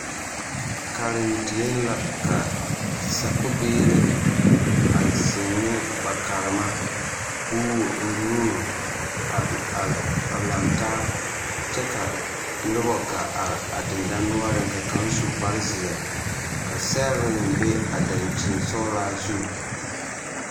Karendieŋ la ka sakubiiri a zeŋ ne ba karema ka o wuo o nuuri a a a laŋtaa kyɛ ka noba gaa are a dendɔnoɔreŋ ka kaŋ su kparezeɛ ka sɛgre be a dankyinsɔglaa zu.